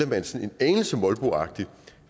man sådan en anelse molboagtigt